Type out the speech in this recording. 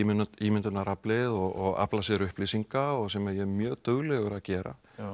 ímyndunaraflið og afla sér upplýsinga sem ég er mjög duglegur að gera